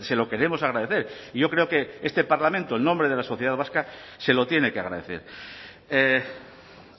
se lo queremos agradecer y yo creo que este parlamento en nombre de la sociedad vasca se lo tiene que agradecer